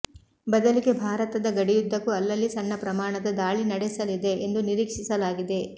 ಬದಲಿಗೆ ಭಾರತದ ಗಡಿಯುದ್ಧಕ್ಕೂ ಅಲ್ಲಲ್ಲಿ ಸಣ್ಣ ಪ್ರಮಾಣದ ದಾಳಿ ನಡೆಸಲಿದೆ ಎಂದು ನಿರೀಕ್ಷಿಸಲಾಗಿದೆ